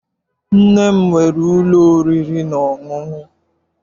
Nne m nwere ụlọ oriri na ọṅụṅụ.